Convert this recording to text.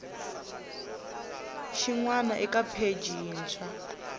xin wana eka pheji yintshwa